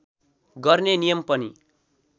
गर्ने नियम पनि